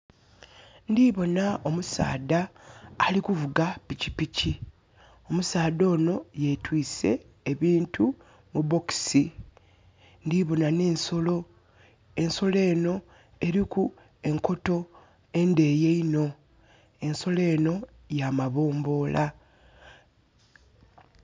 Ndiboona omusaadha ali kuvuga pikipiki. Omusaadha ono yetwise ebintu mu bokisi. Ndiboona nensolo. Ensolo eno erilku enkoto endeyi nho. Ensolo eno ya mabombola